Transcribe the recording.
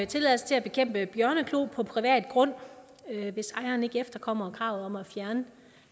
tilladelse til at bekæmpe bjørneklo på privat grund hvis ejeren ikke efterkommer kravet om at fjerne